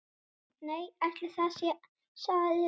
Nei, ætli það, sagði löggan.